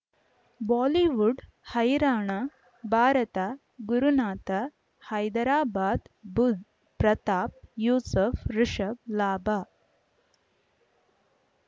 Bollywood ಹೈರಾಣ ಭಾರತ ಗುರುನಾಥ ಹೈದರಾಬಾದ್ ಬುಧ್ ಪ್ರತಾಪ್ ಯೂಸುಫ್ ರಿಷಬ್ ಲಾಭ